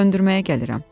Söndürməyə gəlirəm.